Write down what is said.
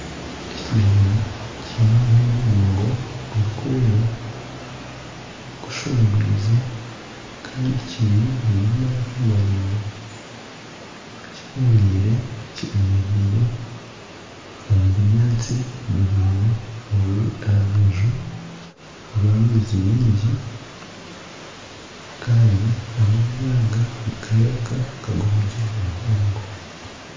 Ekinyonyi kiine omunwa muraingwa gurikwera gushongwize kandi kiine amaraka maraingwa kiboneire kyemereire omu bunyaatsi buraingwa oburi aha rubaju rw'amaizi maingi. Kandi amaizi aga nigareebeka nk'ag'omugyera muhango.